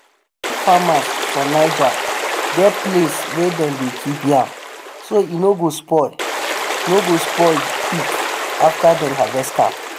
yam farmers for niger get place wey dem dey keep yam so e no go spoil no go spoil quick after dem harvest am.